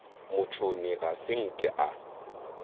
motšhoni ga se nke a